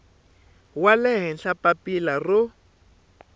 wa le henhla papila ro